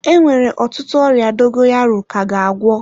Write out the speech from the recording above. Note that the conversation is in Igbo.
Enwere ọtụtụ ọrịa dogoyaro ka ga agwọ.